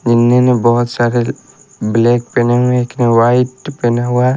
इनमें में बहुत सारे ब्लैक पहने हुए हैं एक ने व्हाइट पहना हुआ है।